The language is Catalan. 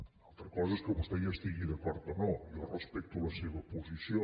una altra cosa és que vostè hi estigui d’acord o no jo respecto la seva posició